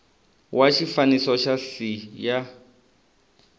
wa xifaniso xa c ya